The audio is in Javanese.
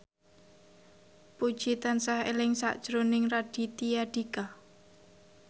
Puji tansah eling sakjroning Raditya Dika